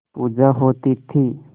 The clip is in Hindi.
पूजा होती थी